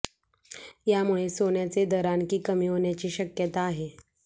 यामुळे सोन्याचे दर आणखी कमी होण्याची शक्यता आहे